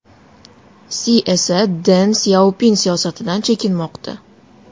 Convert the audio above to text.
Si esa Den Syaopin siyosatidan chekinmoqda.